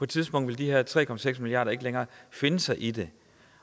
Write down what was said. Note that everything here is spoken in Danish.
tidspunkt vil de her tre milliarder ikke længere finde sig i det